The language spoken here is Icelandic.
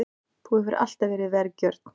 Þú hefur alltaf verið vergjörn.